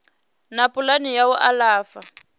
na pulani ya u alafha